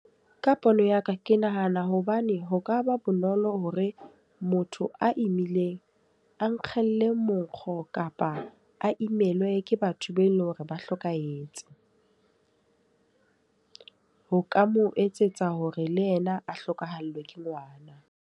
Ka pono ya ka, ke nahana hobane ho ka ba bonolo hore motho a imileng, a ikgelle monkgo kapa a imelwe ke batho be leng hore ba hlokahetse. Ho ka mo etsetsa hore le yena a hlokahallwe ke ngwana.